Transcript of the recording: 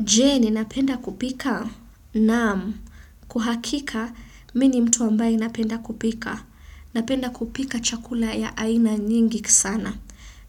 Je ninapenda kupika na kwa uhakika mimi ni mtu ambaye napenda kupika. Napenda kupika chakula ya aina nyingi sana.